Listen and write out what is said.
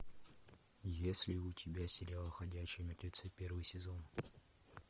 есть ли у тебя сериал ходячие мертвецы первый сезон